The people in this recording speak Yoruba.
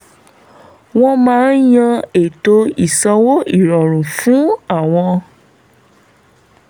wọ́n máa yan ètò ìsanwó ìrọ̀rùn fún àwọn